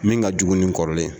Min ka jugu ni kɔrɔlen ye.